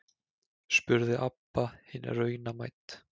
spurði Abba hin raunamædd.